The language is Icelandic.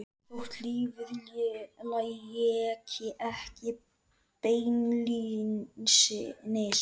Þótt lífið léki ekki beinlínis við